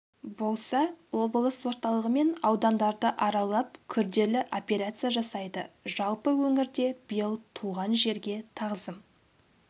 болса облыс орталығы мен аудандарды аралап күрделі операция жасайды жалпы өңірде биыл туған жерге тағзым